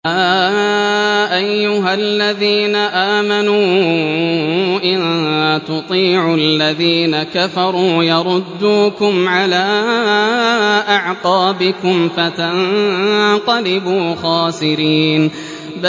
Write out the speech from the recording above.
يَا أَيُّهَا الَّذِينَ آمَنُوا إِن تُطِيعُوا الَّذِينَ كَفَرُوا يَرُدُّوكُمْ عَلَىٰ أَعْقَابِكُمْ فَتَنقَلِبُوا خَاسِرِينَ